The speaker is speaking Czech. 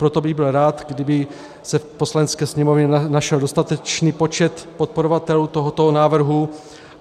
Proto bych byl rád, kdyby se v Poslanecké sněmovně našel dostatečný počet podporovatelů tohoto návrhu.